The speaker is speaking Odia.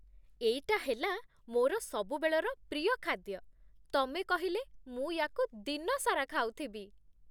ଏଇଟା ହେଲା ମୋର ସବୁବେଳର ପ୍ରିୟ ଖାଦ୍ୟ, ତମେ କହିଲେ, ମୁଁ ୟାକୁ ଦିନ ସାରା ଖାଉଥିବି ।